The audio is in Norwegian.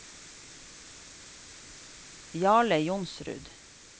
Jarle Johnsrud